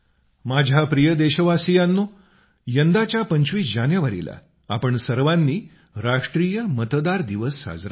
माझ्या प्रिय देशवासियांनो यंदाच्या 25 जानेवारीला आपण सर्वांनी राष्ट्रीय मतदार दिवस साजरा केला